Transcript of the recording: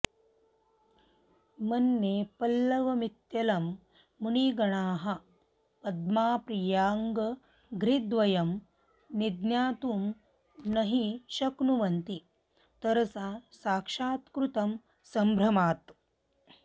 मन्ये पल्लवमित्यलं मुनिगणाः पद्माप्रियाङ्घ्रिद्वयं निज्ञातुं न हि शक्नुवन्ति तरसा साक्षात्कृतं सम्भ्रमात्